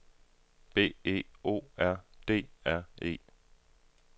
B E O R D R E